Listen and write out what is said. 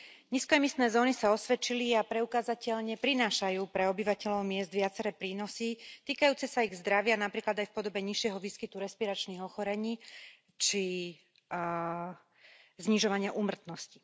Nízkoemisné zóny sa osvedčili a preukázateľne prinášajú pre obyvateľov miest viaceré prínosy týkajúce sa ich zdravia, napríklad aj v podobe nižšieho výskytu respiračných ochorení či znižovania úmrtnosti.